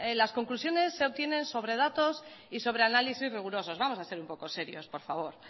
las conclusiones se obtienen sobre datos y sobre análisis rigurosos vamos a ser un poco serios por favor